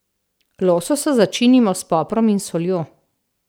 Lososa začinimo s poprom in soljo.